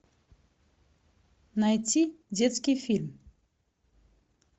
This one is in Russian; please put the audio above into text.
найти детский фильм